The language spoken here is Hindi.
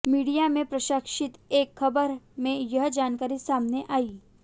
मीडिया में प्रकाशित एक खबर में यह जानकारी सामने आई